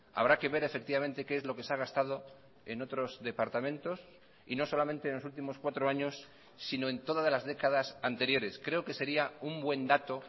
habrá que ver efectivamente qué es lo que se ha gastado en otros departamentos y no solamente en los últimos cuatro años sino en todas las décadas anteriores creo que sería un buen dato